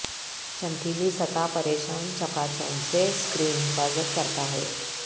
چمکیلی سطح پریشان چکاچوند سے سکرین حفاظت کرتا ہے